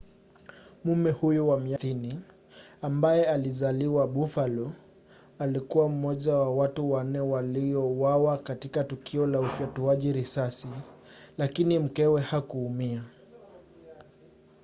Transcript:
mume huyo wa miaka 30 ambaye alizaliwa buffalo alikuwa mmoja wa watu wanne waliouawa katika tukio la ufyatuaji risasi lakini mkewe hakuumia